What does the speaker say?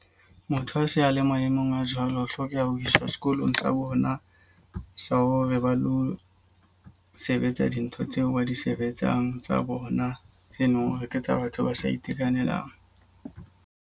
Motho a se a le maemong a jwalo. Ho hlokeha ho isa sekolong sa bona sa hore ba lo sebetsa dintho tseo ba di sebetsang tsa bona, tse leng hore ke tsa batho ba sa itekanelang.